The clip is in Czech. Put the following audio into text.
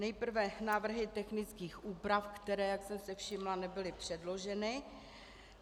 Nejprve návrhy technických úprav, které, jak jsem si všimla, nebyly předloženy.